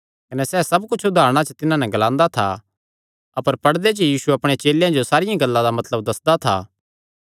कने सैह़ सब कुच्छ उदारणा च तिन्हां नैं ग्लांदा था अपर पड़दे च यीशु अपणे चेलेयां जो सारियां गल्लां दा मतलब दस्सदा था